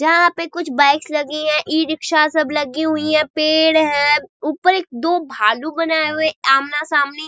जहां पे कुछ बाइक्स लगी है ई-रिक्शा सब लगी हुई है पेड़ है ऊपर एक-दो भालू बनाये है आमना-सामनी।